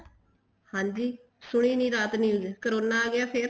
ਹਾਂਜੀ ਸੁਣੀ ਨੀ ਰਾਤ news corona ਆਗਿਆ ਫ਼ੇਰ